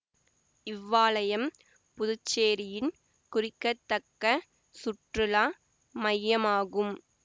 இவ்வாலயம் புதுச்சேரியின் குறிக்கத்தக்க சுற்றுலா மையமாகும்